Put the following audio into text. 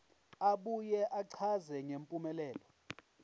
abuye achaze ngempumelelo